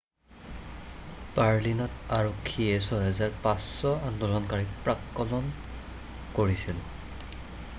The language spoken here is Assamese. বাৰ্লিনত আৰক্ষীয়ে 6,500 আন্দোলনকাৰীক প্ৰাক্কলন কৰিছিল৷